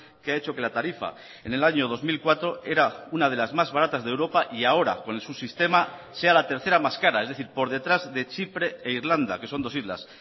que ha hecho que la tarifa en el año dos mil cuatro era una de las más baratas de europa y ahora con su sistema sea la tercera más cara es decir por detrás de chipre e irlanda que son dos islas